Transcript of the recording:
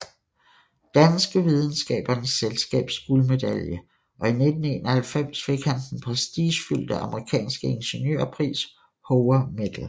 Danske Videnskabernes Selskabs guldmedalje og i 1991 fik han den prestigefyldte amerikanske ingeniørpris Hoover Medal